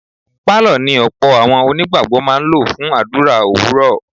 Pálọ̀ ni ọ̀pọ̀ àwọn onígbàgbọ́ máa ń lò fún àdúrà òwúrọ̀.